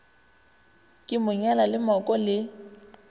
ke monyalo le mooko le